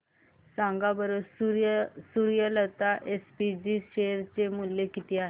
सांगा बरं Suryalata SPG share चे मूल्य किती आहे